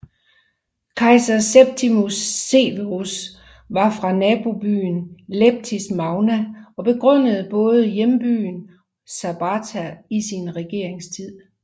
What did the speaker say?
Kejser Septimius Severus var fra nabobyen Leptis Magna og begunstigede både hjembyen og Sabratha i sin regeringstid